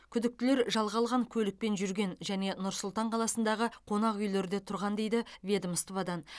күдіктілер жалға алған көлікпен жүрген және нұр сұлтан қаласындағы қонақүйлерде тұрған дейді ведомстводан